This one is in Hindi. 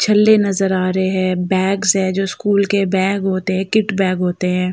छल्ले नज़र आ रहे हैं। बैग्स है जो स्कूल के बैग होते हैं किट बैग होते हैं।